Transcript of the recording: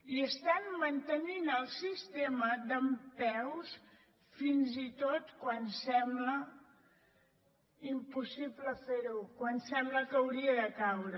i estan mantenint el sistema dempeus fins i tot quan sembla impossible fer ho quan sembla que hauria de caure